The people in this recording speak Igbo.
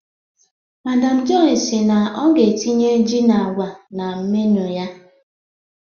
Madam Joy si na ọ ga-etinye ji na akwa na menu ya.